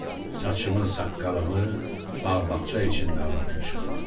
Saçımı, saqqalımı bağ-bağça içində ağartmışam.